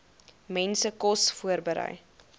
mense kos voorberei